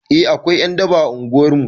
Eh akwai ƴan daba a unguwar mu